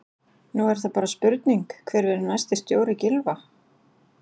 Nú er það bara spurning hver verður næsti stjóri Gylfa?